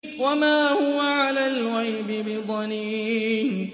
وَمَا هُوَ عَلَى الْغَيْبِ بِضَنِينٍ